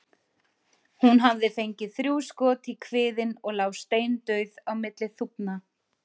Hún hafði fengið þrjú skot í kviðinn og lá steindauð á milli þúfna.